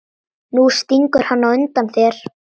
Nú stingur hann undan þér!